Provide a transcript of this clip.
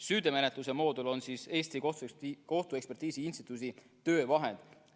Süüteomenetluse moodul on Eesti Kohtuekspertiisi Instituudi töövahend.